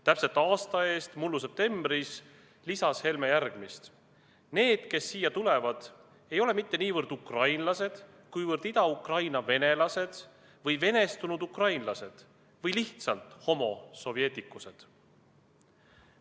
Täpselt aasta eest, mullu septembris, lisas Helme järgmist: "Need, kes siia tulevad, ei ole mitte niivõrd ukrainlased, kuivõrd Ida-Ukraina venelased või venestunud ukrainlased või lihtsalt homo soveticus'ed.